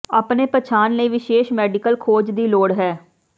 ਆਪਣੇ ਪਛਾਣ ਲਈ ਵਿਸ਼ੇਸ਼ ਮੈਡੀਕਲ ਖੋਜ ਦੀ ਲੋੜ ਹੈ